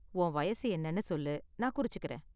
உன் வயசு என்னனு சொல்லு, நான் குறிச்சுக்கறேன்.